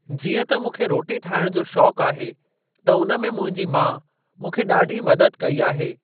जीअं त मूंखे रोटी ठाहिण जो शौक़ आहे त उन में मुंहिंजी माउ मूंखे ॾाढी मदद कई आहे।